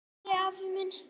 Elsku Valli afi minn.